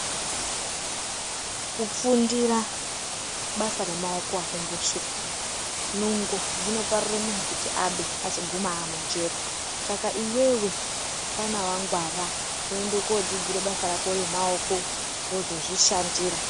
Kufundira, basa remaoko akumboshuphi. Nungo dzinoparire munhu kuti abe, azoguma aamujere. Saka iwewe, fana wangwara, woende koodzidzire basa rako remaoko, wozozvishandira.